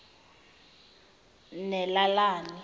nalelani